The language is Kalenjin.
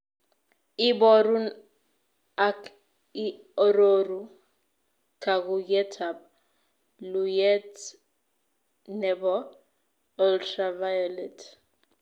Iborun ak ii aroru kaakuuyetap luuyet ne po ultraviolet